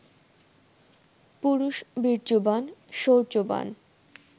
পুরুষ বীর্যবান, শৌর্যবান